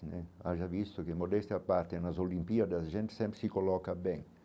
Né haja visto que modesta a parte nas Olimpíadas, a gente sempre se coloca bem.